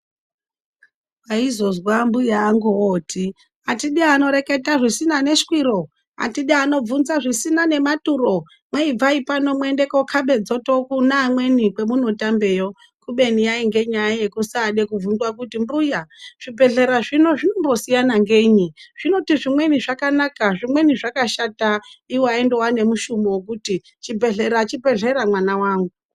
Waizozwa mbuya angu ooti atidi anoreketa zvisina neshwiro, atidi anobvunza zvisina nematuro kwai ibvai pano mwoende kokhabe dzoto kune amweni kwemunotambeyo kubeni yainge nyaya yekusaade kubvunzwe kuti mbuya zvibhedhlera zvino zvinombosiyana ngenyi zvinoti zvimweni zvakanaka zvimweni zvakashata, iwo aindowa nemushumo wekuti chibhedhlera chibhedhlera mwana wangu.